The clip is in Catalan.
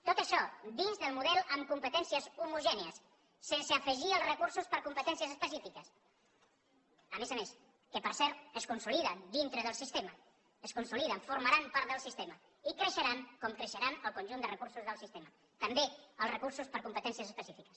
tot això dins del model amb competències homogènies sense afegir els recursos per competències es pecífiques a més a més que per cert es consoliden dintre del sistema es consoliden formaran part del sistema i creixeran com creixeran el conjunt de recursos del sistema també els recursos per competències específiques